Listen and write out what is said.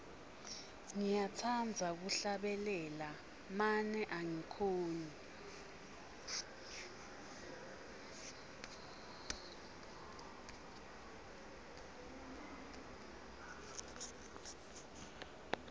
ngiyatsandza kuhlabela mane angikhoni